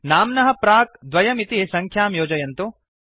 नाम्नः प्राक् 2 इति सङ्ख्यां योजयन्तु